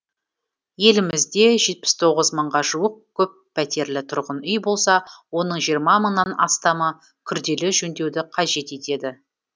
елімізде жетпіс тоғыз мыңға жуық көппәтерлі тұрғын үй болса оның жиырма мыңнан астамы күрделі жөндеуді қажет етеді